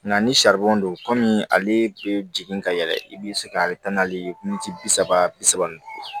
Nka ni saribɔn don kɔmi ale bɛ jigin ka yɛlɛ i bɛ se ka taa n'ale ye minti bi saba bi saba ni duuru